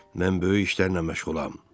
Mən böyük işlərlə məşğulam.